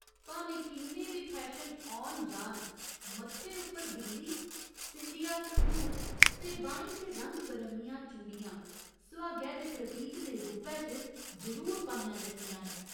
भामें किन्ने बी फैशन औन जान, मत्थे उप्पर बिंदी, सींदिया संदूर ते बाहीं च रंग बरंगियां चूड़िया सुहागै दे प्रतीक दे रूपै च जरूर पाइयां जंदियां न।